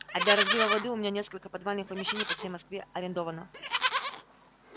а для разлива воды у меня несколько подвальных помещений по всей москве арендовано